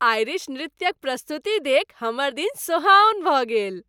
Irish नृत्यक प्रस्तुति देखि हमर दिन सोहाओन भऽ गेल।